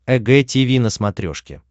эг тиви на смотрешке